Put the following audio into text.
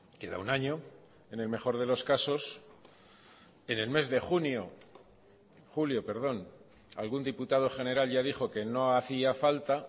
queda un año en el mejor de los casos en el mes de junio julio perdón algún diputado general ya dijo que no hacía falta